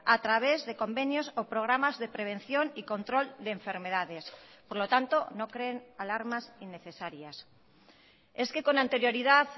a través de convenios o programas de prevención y control de enfermedades por lo tanto no creen alarmas innecesarias es que con anterioridad